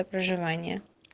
проживание